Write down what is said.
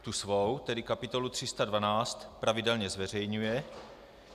Tu svou, tedy kapitolu 312, pravidelně zveřejňuje.